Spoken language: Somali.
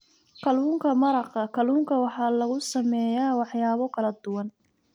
Kalluunka maraqa kalluunka waxaa lagu sameeyaa waxyaabo kala duwan.